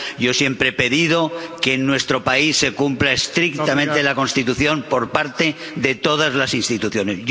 Yo siempre he pedido que en nuestro país se cumpla estrictamente la Constitución por parte de todas las instituciones.